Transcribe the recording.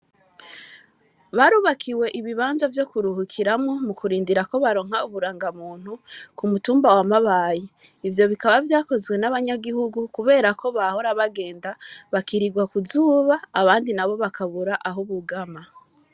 Barubakiwe ibibanza vyo kuruhukiramwo mu kurindira ko baronka uburanga muntu ku mutumba wa mabaye ivyo bikaba vyakozwe n'abanyagihugu, kubera ko bahora bagenda bakirirwa kuzuba abandi na bo bakabura aho ubugama.